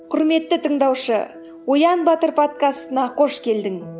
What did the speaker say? құрметті тыңдаушы оян батыр подкастына қош келдің